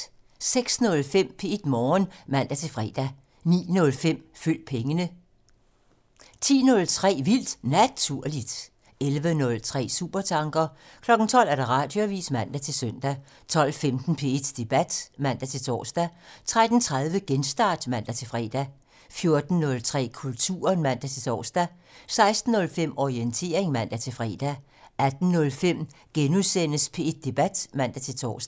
06:05: P1 Morgen (man-fre) 09:05: Følg pengene (man) 10:03: Vildt Naturligt (man) 11:03: Supertanker (man) 12:00: Radioavisen (man-søn) 12:15: P1 Debat (man-tor) 13:30: Genstart (man-fre) 14:03: Kulturen (man-tor) 16:05: Orientering (man-fre) 18:05: P1 Debat *(man-tor)